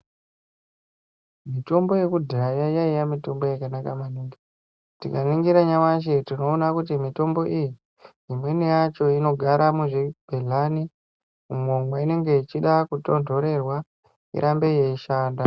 Mitombo yekudhaya yaiya mitombo yakanaka maningi tikaningira nyamashi tikaona kuti mitombo iyi imweni yacho inogara muzvigulani umo mainenge ichida kutonhorerwa irambe ichishanda .